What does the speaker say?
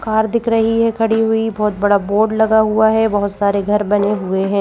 Car दिख रही है खड़ी हुई बहुत बड़ा बोर्ड लगा हुआ है बहुत सारे घर बने हुए हैं।